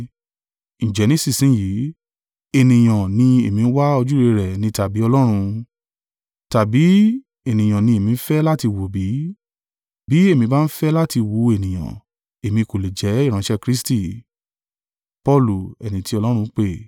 Ǹjẹ́ nísinsin yìí, ènìyàn ni èmi ń wá ojúrere rẹ̀ ní tàbí Ọlọ́run? Tàbí ènìyàn ni èmi ń fẹ́ láti wù bí? Bí èmi bá ń fẹ́ láti wu ènìyàn, èmi kò lè jẹ́ ìránṣẹ́ Kristi.